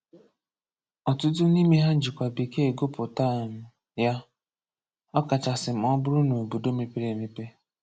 Ọ̀tụ̀tụ̀ n’ímè hà jìkwà Békee gụ̀pụ̀tà um ya, ọ̀ kacha sị mà ọ bùrù n’òbòdò mépèrè èmèpè.